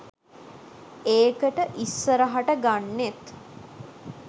ඒකට ඉස්සරහට ගන්නෙත්